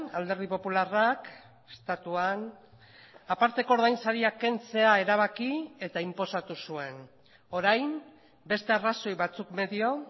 alderdi popularrak estatuan aparteko ordainsariak kentzea erabaki eta inposatu zuen orain beste arrazoi batzuk medio